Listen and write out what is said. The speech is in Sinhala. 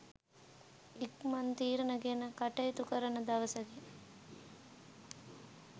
ඉක්මන් තීරණ ගෙන කටයුතු කරන දවසකි.